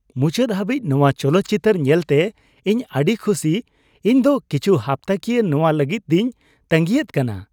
ᱢᱩᱪᱟᱹᱫ ᱦᱟᱹᱵᱤᱡ ᱱᱚᱣᱟ ᱪᱚᱞᱚᱛ ᱪᱤᱛᱟᱹᱨ ᱧᱮᱞᱛᱮ ᱤᱧ ᱟᱹᱰᱤ ᱠᱷᱩᱥᱤ ! ᱤᱧ ᱫᱚ ᱠᱤᱪᱷᱩ ᱦᱟᱯᱛᱟᱠᱤᱭᱟᱹ ᱱᱚᱣᱟ ᱞᱟᱹᱜᱤᱫᱤᱧ ᱛᱟᱹᱜᱤᱭᱮᱫ ᱠᱟᱱᱟ ᱾